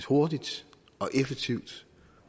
hurtigt og effektivt